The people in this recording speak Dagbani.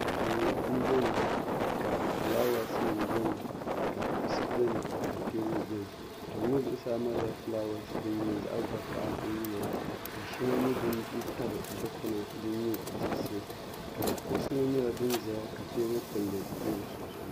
duu m-bɛni ka fulaawaasinima bɛni ka kuɣisi bɛni ka teebuli bɛni duu ŋɔ zuɣusaa malila fulaawaasi din nyɛ zaɣ' vakahili din yiliya ka shɛŋa nyɛ din tabi dikpuna din nyɛ diɣisi ka kuɣisi ŋɔ nyɛla din ʒɛya ka teebuli kpulli be di sunsuuni